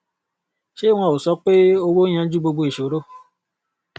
ṣé wọn ò sọ pé owó ń yanjú gbogbo ìṣòro